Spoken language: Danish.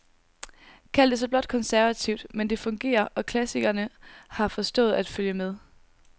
Kald det så blot konservativt, men det fungerer, og klassikerne har forstået at følge med.